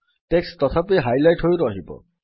text ତଥାପି highlight ହୋଇ ରହିବ